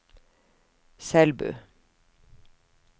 Selbu